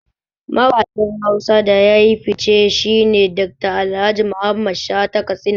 Mawaƙin Hausa da yafi fice shine Dr. Alhaji Mamman Shata Katsina